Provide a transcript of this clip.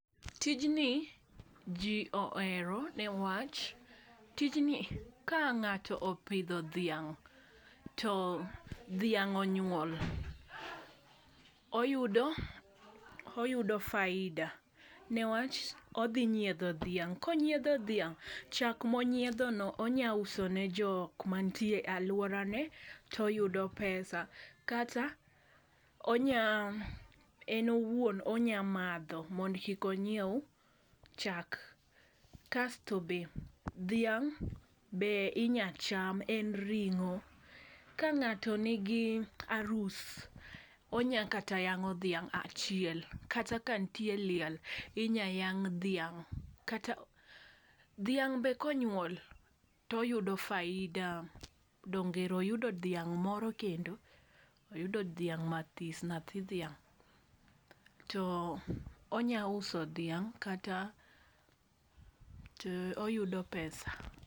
Tijni ji ohero ne wach, tijni ka ngáto opidho dhiang' to dhiang' onyuol, oyudo, oyudo faida. Ne wach, odhi nyiedho dhiang', konyiedho dhiang' chak ma onyiedhono onya uso ne jokma nitie alworane to oyudo pesa. Kata onya, en owuon onya madho mondo kik onyiew chak. Kasto be, dhiang' be inya cham, en ringo. Ka ngáto nigi arus, onya kata yangó dhiang' achiel, kata nitie liel, inya yang' dhiang'. Kata dhiang' be ka onyuol, to oyudo faida, dong ero oyudo dhiang' moro kendo. Oyudo dhiang' matis, nyathi dhiang'. To onya uso dhiang' kata, to oyudo pesa.